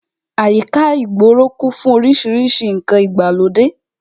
Àyíká ìgboro kún fún orísìírísìí ǹkan ìgbàlódé